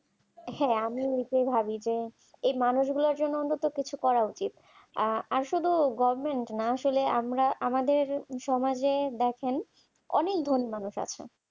আসলে আমিও এটাই ভাবি যে ওই মানুষগুলোর জন্য আমাদের কিছু করা উচিত আসলে গভমেন্ট না আমরা আমাদের সমাজের অনেকগুলো মানুষ আছে